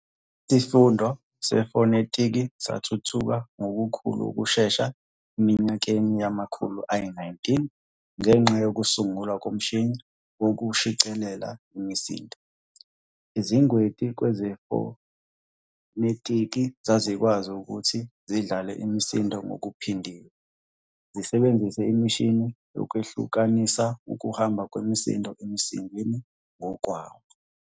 Isifundo sefonetiki sathuthuka ngokukhulu ukushesha eminyakeni yamakhulu ayi-19 ngenxa yokusungulwa komshini wokushicilela imisindo. Izingweti kwezefonetiki zazikwazi ukuthi zidlale imisindo ngokuphindiwe zisebenzisa imishini yokwehlukanisa ukuhamba kwemisindo emsindweni ngokwawo.